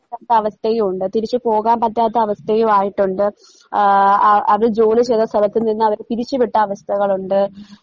അവസ്ഥയും ഉണ്ട് തിരിച്ചു പോകാൻ പറ്റാത്ത അവസ്ഥയുവായിട്ടൊണ്ട് ആഹ് ആ അവര് ജോലി ചെയ്ത സ്ഥലത്ത് നിന്ന് അവരെ പിരിച്ചുവിട്ട അവസ്ഥകളൊണ്ട്